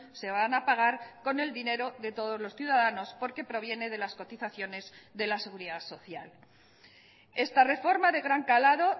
se van a pagar con el dinero de todos los ciudadanos porque proviene de las cotizaciones de la seguridad social esta reforma de gran calado